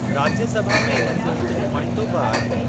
राज्यसभा में इन्हनि जो हिक नुमांइंदो बि आहे।